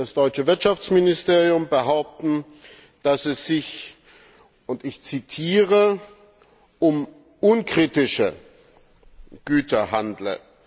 das deutsche Wirtschaftsministerium, behaupten, dass es sich ich zitiere um unkritische Güter handle.